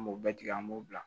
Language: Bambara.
An b'o bɛɛ tigɛ an b'o bila